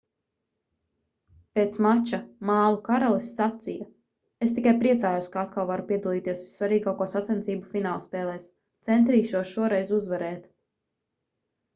pēc mača mālu karalis sacīja: "es tikai priecājos ka atkal varu piedalīties vissvarīgāko sacensību finālspēlēs. centīšos šoreiz uzvarēt.